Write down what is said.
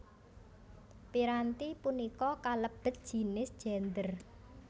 Piranti punika kalebet jinis Gendèr